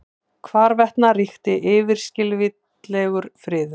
Hvarvetna ríkti yfirskilvitlegur friður.